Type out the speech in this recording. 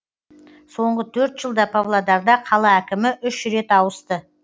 соңғы төрт жылда павлодарда қала әкімі үш рет ауысты